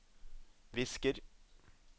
visker